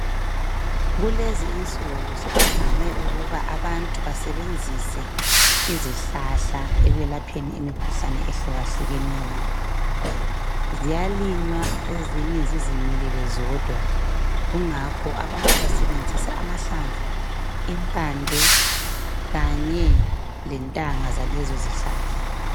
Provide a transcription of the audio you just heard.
Kulezi insuku sokuvame ukuba abantu basebenzise izihlahla ekwelapheni imikhuhlane ehlukahlukeneyo. Ziyalinywa ezinye zizimilele zodwa. Kungakho abantu basebenzisa amahlamvu, impande kanye lentanga zalezozihlahla.